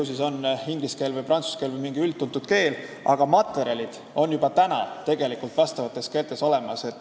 Ju siis on valitud inglise või prantsuse keel või mingi üldtuntud keel, aga materjalid vastavates keeltes on juba olemas.